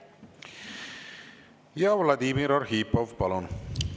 Vladimir Arhipov, palun!